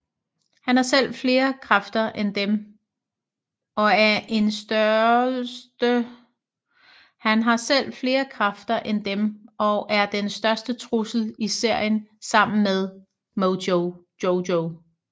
Han har selv flere kræfter end dem og er den største trussel i serien sammen med Mojo Jojo